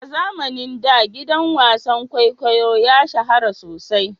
A zamanin da gidan wasan kwaikwayo ya shahara sosai.